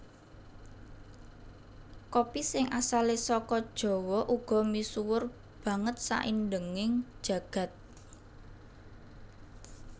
Kopi sing asalé saka Jawa uga misuwur banget saindenging jagat